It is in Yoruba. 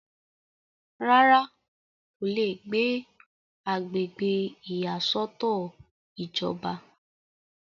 rárá, kò le gbé agbègbè ìyàsọ́tọ̀ ìjọba